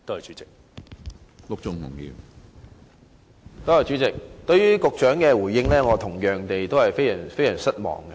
主席，我同樣對局長的回應非常失望。